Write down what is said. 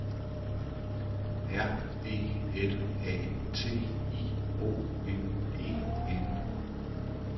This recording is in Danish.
R E L A T I O N E N